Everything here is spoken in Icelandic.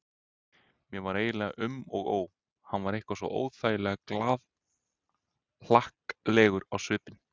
Mér var eiginlega um og ó, hann var eitthvað svo óþægilega glaðhlakkalegur á svipinn.